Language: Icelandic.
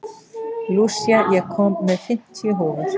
Lúsía, ég kom með fimmtíu húfur!